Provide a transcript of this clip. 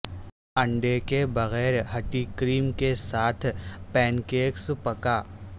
انڈے کے بغیر ھٹی کریم کے ساتھ پینکیکس پکا